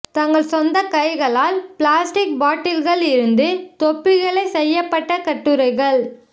தங்கள் சொந்த கைகளால் பிளாஸ்டிக் பாட்டில்கள் இருந்து தொப்பிகளை செய்யப்பட்ட கட்டுரைகள்